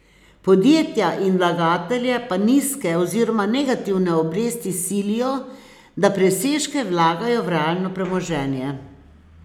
Podjetja in vlagatelje pa nizke oziroma negativne obresti silijo, da presežke vlagajo v realno premoženje.